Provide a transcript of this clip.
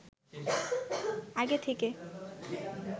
আগে থেকে